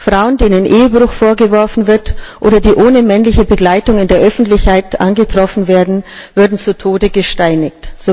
Frauen denen Ehebruch vorgeworfen wird oder die ohne männliche Begleitung in der Öffentlichkeit angetroffen werden, würden zu Tode gesteinigt.